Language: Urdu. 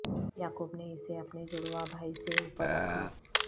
یعقوب نے اسے اپنے جڑواں بھائی سے اوپر رکھا